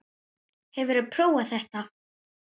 Hefurðu prófað þetta?